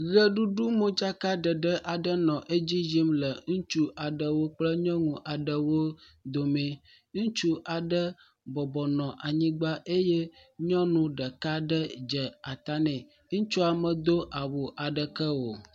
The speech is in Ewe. Ʋeɖuɖu modzakaɖeɖe aɖe nɔ edzi yim le ŋutsu aɖewo kple nyɔnu aɖewo domee. Ŋutsu aɖe bɔbɔnɔ anyigba eye nyɔnu ɖeka ɖe dze ata nɛ eye ŋutsua medo awu aɖeke wo.